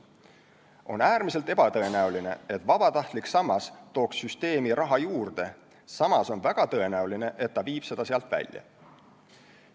On äärmiselt ebatõenäoline, et vabatahtlik sammas tooks süsteemi raha juurde, samas on väga tõenäoline, et ta viib seda sealt välja.